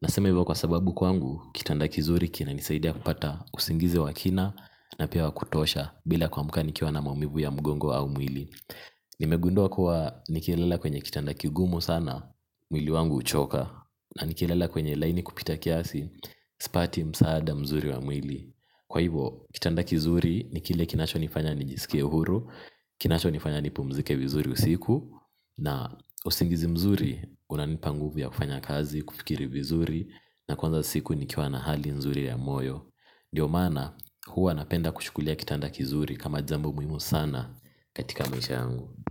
Nasema hivyo kwa sababu kwangu, kitanda kizuri kinanisaidia kupata usingizi wa kina na pia wakutosha bila kuamka nikiwa na maumivu ya mgongo au mwili. Nimegundua kuwa nikilala kwenye kitanda kigumu sana, mwili wangu huchoka. Na nikilala kwenye laini kupita kiasi, sipati msaada mzuri wa mwili. Kwa hivo, kitanda kizuri ni kile kinacho nifanya nijisike huru, kinacho nifanya nipumzike vizuri usiku na usingizi mzuri, unanipa nguvya kufanya kazi, kufikiri vizuri na kwanza siku nikiwa na hali nzuri ya moyo ndio maana, huwa napenda kuchukulia kitanda kizuri kama jambo muhimu sana katika maisha yangu.